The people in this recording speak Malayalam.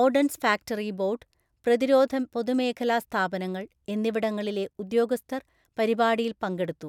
ഓര്‍ഡന്‍സ് ഫാക്ടറി ബോര്‍ഡ്, പ്രതിരോധ പൊതുമേഖലാ സ്ഥാപനങ്ങള്‍ എന്നിവിടങ്ങളിലെ ഉദ്യോഗസ്ഥര്‍ പരിപാടിയില്‍ പങ്കെടുത്തു.